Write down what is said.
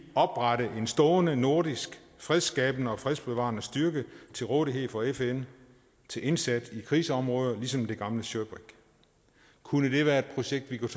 oprette en stående nordisk fredsskabende og fredsbevarende styrke til rådighed for fn til indsats i krigsområder ligesom det gamle shirbrig kunne det være et projekt vi kunne